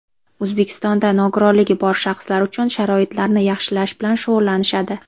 O‘zbekistonda nogironligi bor shaxslar uchun sharoitlarni yaxshilash bilan shug‘ullanishadi.